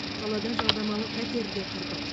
қалада жалдамалы пәтерде тұрдық